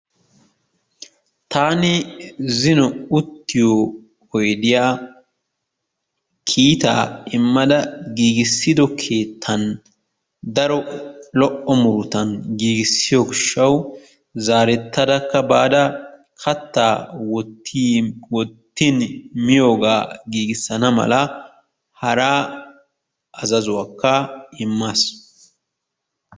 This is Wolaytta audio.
Taani zino uttiyo oydiyaa kiitaa immada giigissido keettan daro lo"o murutan giigissiyo gishshawu zaarettadakka baada kattaa wottin miyoogaa giigissana malaa hara azazuwaakka immaas.